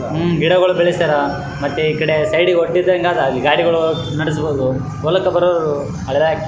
ಹ್ಹು ಗಿಡಗೊಳು ಬೆಳೆಸ್ಯಾರ ಮತ್ತೆ ಇಕಡೆ ಸೈಡಗೆ ಹೊಡ್ಡಿಂದಗಾದ ಅಲ್ಲಿ ಗಾಡಿಗೊಳ ನಡಸಬಹುದು ಹೊಲಕ ಬರದ --